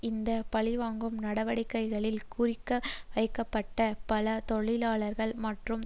இந்த பழிவாங்கும் நடவடிக்கைகளில் குறிவைக்கப்பட்ட பல தொழிலாளர்கள் மற்றும்